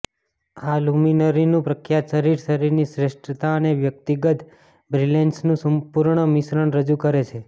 આ લુમિનરીનું પ્રખ્યાત શરીર શરીરની શ્રેષ્ઠતા અને વ્યક્તિગત બ્રિલેન્સનું સંપૂર્ણ મિશ્રણ રજૂ કરે છે